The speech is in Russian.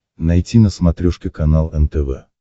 найти на смотрешке канал нтв